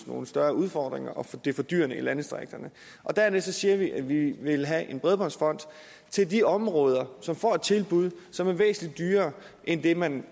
nogle større udfordringer og det er fordyrende i landdistrikterne dernæst siger vi at vi vil have en bredbåndsfond til de områder som får et tilbud som er væsentlig dyrere end det man